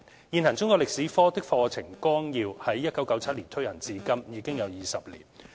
現行中國歷史科的課程綱要於1997年推行至今，已有20年。